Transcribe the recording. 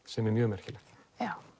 sem er mjög merkilegt